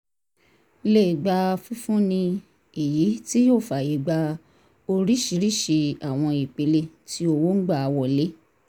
lè gbà fifúnni èyí tí yóò fàyègba oríṣiríṣi àwọn ìpele tí owo ń gbà wọlé